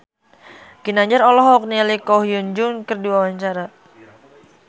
Ginanjar olohok ningali Ko Hyun Jung keur diwawancara